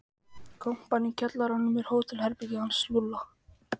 Kompan í kjallaranum er hótelherbergið hans Lúlla.